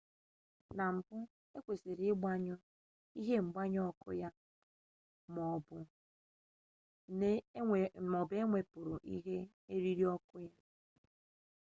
nke mbu ekwesịrị ịgbanyụ ihe ngbanye ọkụ ma ọ bụ na-ewepụrụ ihe eriri ọkụ ya